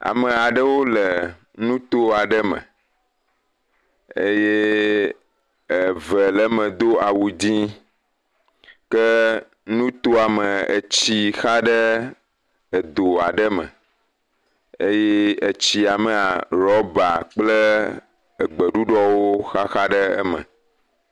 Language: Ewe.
Ame aɖewo le nuto aɖe me eye eve le eme do awu dzɛ ke nutoa me, etsi xa ɖe doa ɖe me eye etsia me rɔber egbe ɖuɖɔwo xaxa ɖe eme.